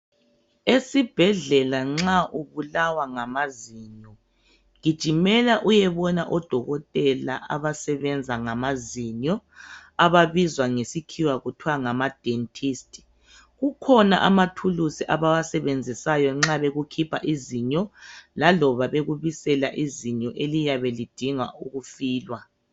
Esibhedlela nxa ubulawa ngamazinyo gijimela uyebona odokotela abasebenza ngamazinyo ababizwa ngesikhiwa kuthwa ngama dentist. Kukhona amathulusi abawasebenzisayo nxa bekukhipha izinyo laloba bekubisela izinyo eliyabe lidinga ukufilwa.